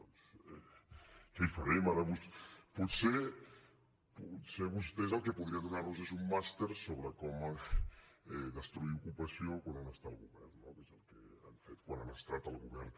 doncs què hi farem potser vostè el que podria donar nos és un màster sobre com destruir ocupació quan un està al govern no que és el que han fet quan han estat al govern